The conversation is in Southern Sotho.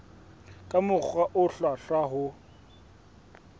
ka mokgwa o hlwahlwa ho